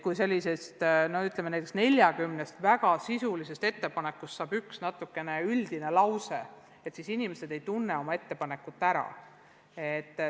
Kui näiteks 40-st väga sisulisest ettepanekust saab üks üldine lause, siis inimesed ei tunne oma ettepanekut ära.